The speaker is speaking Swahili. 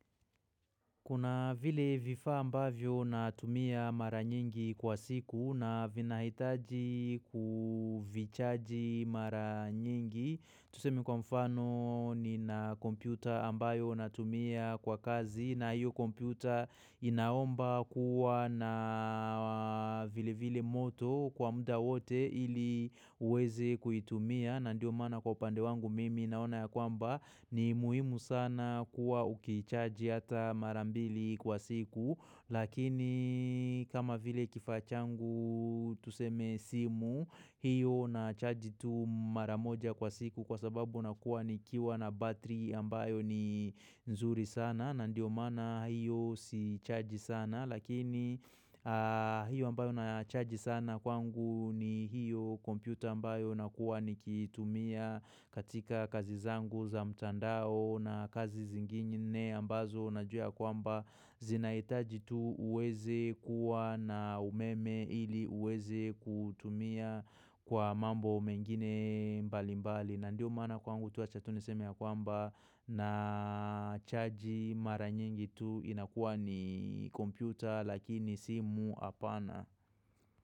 Kuna vile vifaa ambavyo natumia mara nyingi kwa siku na vina hitaji kuvichaji mara nyingi. Tuseme kwa mfano nina kompyuta ambayo natumia kwa kazi na hiyo kompyuta inaomba kuwa na vile vile moto kwa muda wote ili uweze kuitumia. Na ndio mana kwa upande wangu mimi naona ya kwamba ni muhimu sana kuwa uki chargi hata mara mbili kwa siku lakini kama vile kifaa changu tuseme simu hiyo na chargi tu mara moja kwa siku kwa sababu nakuwa ni kiwa na battery ambayo ni nzuri sana na ndio mana hiyo si chargi sana Lakini hiyo ambayo na chargi sana kwangu ni hiyo computer ambayo na kuwa nikitumia katika kazi zangu za mtandao na kazi zingine ambazo najua ya kwamba zinaitaji tu uweze kuwa na umeme ili uweze kutumia kwa mambo mengine mbali mbali. Na ndio mana kwangu tu acha tu nesemi ya kwamba na chaji mara nyingi tu inakuwa ni kompyuta lakini simu apana.